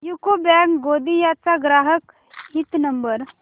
UCO bank Gondia चा ग्राहक हित नंबर